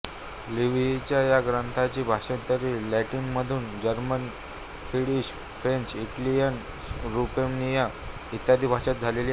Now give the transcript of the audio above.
लिव्हीच्या या ग्रंथाची भाषांतरे लॅटिनमधून German Swedish French Italian Romanian इत्यादी भाषात झालेली आहेत